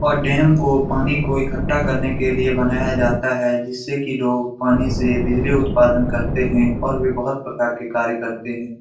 और डैम को पानी को इक्कट्ठा करने के लिए बनाया जाता है जिससे कि लोग पानी से बिजली उत्पादन करते हैं और भी बहुत प्रकार के कार्य करते हैं।